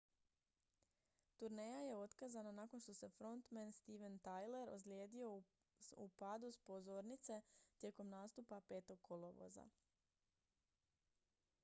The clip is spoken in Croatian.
turneja je otkazana nakon što se frontmen steven tyler ozlijedio u padu s pozornice tijekom nastupa 5. kolovoza